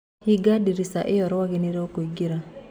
Hinga ndirica ĩo rwagĩ nĩrũraingĩra.